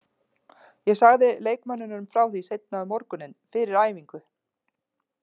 Ég sagði leikmönnunum frá því seinna um morguninn, fyrir æfingu.